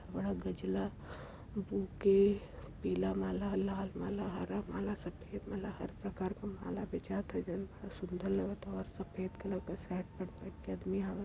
बड़ा गजला बुके पीला माला लाल माला हरा माला सफ़ेद माला हर प्रकार क माला बेचात ह इधर। सुंदर लगत ह और सफ़ेद कलर क शर्ट पहिन के आदमी आवत --